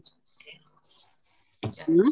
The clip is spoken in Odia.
ଉଁ